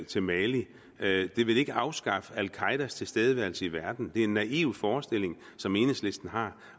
til mali det vil ikke afskaffe al qaedas tilstedeværelse i verden det er en naiv forestilling som enhedslisten har